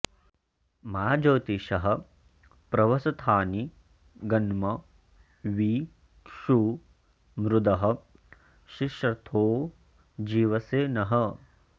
मा ज्योतिषः प्रवसथानि गन्म वि षू मृधः शिश्रथो जीवसे नः